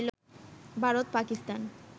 Bharat, Pakistan